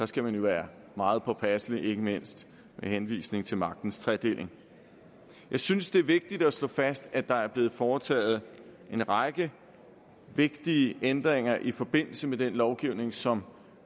skal man jo være meget påpasselig ikke mindst med henvisning til magtens tredeling jeg synes det er vigtigt at slå fast at der er blevet foretaget en række vigtige ændringer i forbindelse med den lovgivning som